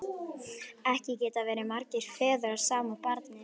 Ekki geta verið margir feður að sama barni!